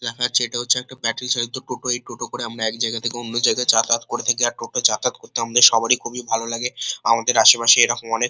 দেখা যাচ্ছে তা হচ্ছে একটা ব্যাটারী চালিত টোটো এই টোটো করে আমরা এক জায়গা থেকে অন্য জায়গা যাতায়াত করে থাকি আর টোটো যাতায়াত করতে আমাদের সবারই খুবই ভালো লাগে আমাদের আশেপাশে এরকম অনেক--